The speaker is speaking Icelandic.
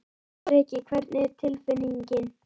Breki: Hvernig er tilfinningin?